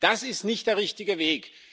Das ist nicht der richtige Weg.